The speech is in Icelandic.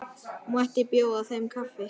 Mætti bjóða þeim kaffi?